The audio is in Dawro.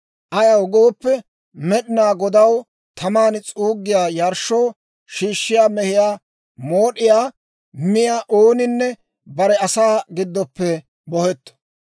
Ayaw gooppe, Med'inaa Godaw taman s'uuggiyaa yarshshoo shiishshiyaa mehiyaa mood'iyaa miyaa ooninne bare asaa giddoppe bohetto.